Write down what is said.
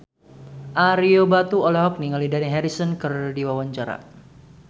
Ario Batu olohok ningali Dani Harrison keur diwawancara